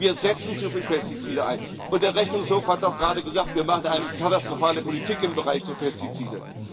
Wir setzen zu viele Pestizide ein, und der Rechnungshof hat auch gerade gesagt, wir machen eine katastrophale Politik im Bereich der Pestizide.